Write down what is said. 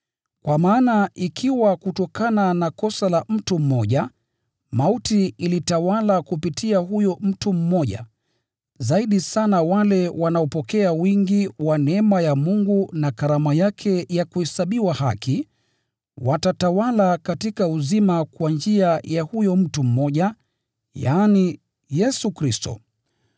Kwa maana ikiwa kutokana na kosa la mtu mmoja, mauti ilitawala kupitia huyo mtu mmoja, zaidi sana wale wanaopokea wingi wa neema ya Mungu na karama yake ya kuhesabiwa haki, watatawala katika uzima kwa njia ya huyo mtu mmoja, yaani, Yesu Kristo.